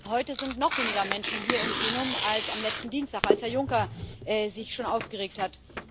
Heute sind noch weniger Menschen hier im Plenum als am letzten Dienstag, als Herr Juncker sich schon aufgeregt hat.